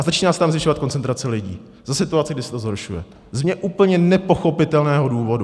A začíná se tam zvyšovat koncentrace lidí za situace, kdy se to zhoršuje, z mně úplně nepochopitelného důvodu.